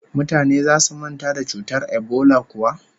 Mutane zasu manta da cutar ebola kuwa?